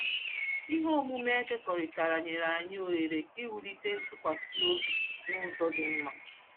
Ihe omume e kekọrịtara nyere anyị ohere ịwụlite ntụkwasị obi n'ụzọ dị mma.